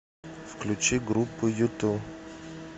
включи группу юту